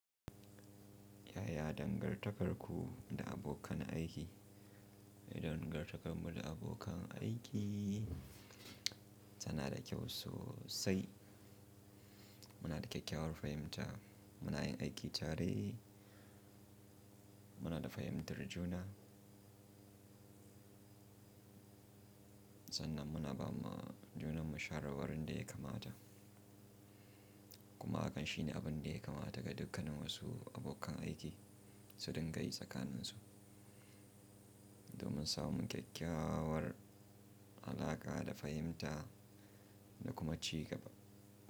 Yaya dangantakarku da abokan aiki? Dangantakarmu da abokan aiki tana da kyau sosai. Muna da kyakkyawar fahimta, muna yin aiki tare, muna da fahimtar juna. Sanan muna ba ma junanmu shawarwari da ya kamata. Kuma hakan shine abin da ya kamata ga dukkanin wasu abokan aiki su dinga yi tsakaninsu domin samu kyakkyawar alaƙa da fahimta da kuma ci gaba.